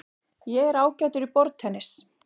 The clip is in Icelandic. Ég er ágætur í borðtennis.